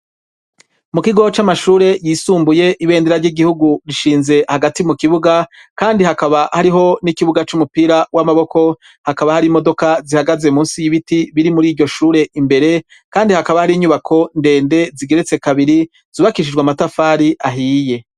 Mu kigo c'amashure yisumbuye ibendera ry'igihugu rishinze hagati mu kibuga kandi hakaba hariho n'ikibuga c'umupira w'amaboko hakaba hari imodoka zihagaze munsi y'ibiti biri muri iryo shure imbere kandi hakaba hari inyubako ndende zigeretse kabiri zubakishijwe amatafari ahiye.